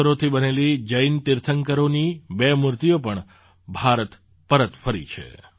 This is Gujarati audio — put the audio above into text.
પથ્થરોથી બનેલી જૈન તીર્થંકરોની બે મૂર્તિઓ પણ ભારત પરત ફરી છે